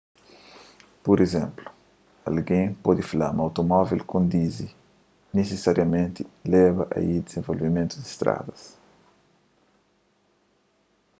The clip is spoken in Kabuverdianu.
pur izénplu algen pode fla ma automóvel kondizi nisisariamenti leba ai dizenvolvimentu di stradas